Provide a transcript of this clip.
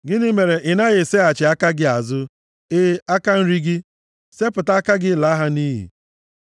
Gịnị mere ị na-eseghachi aka gị azụ, e aka nri gị? Sepụta aka gị laa ha nʼiyi!